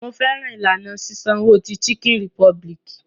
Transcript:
Mo fẹ́ràn ìlànà sísanwo ti Chicken Republic.